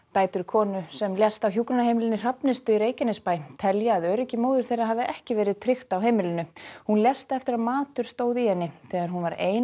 dætur konu sem lést á hjúkrunarheimilinu Hrafnistu í Reykjanesbæ telja að öryggi móður þeirra hafi ekki verið tryggt á heimilinu hún lést eftir að matur stóð í henni þegar hún var ein